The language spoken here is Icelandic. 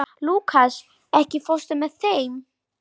Lúkas, ekki fórstu með þeim?